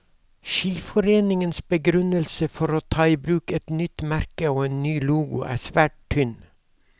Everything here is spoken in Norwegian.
Skiforeningens begrunnelse for å ta i bruk et nytt merke og en ny logo er svært tynn.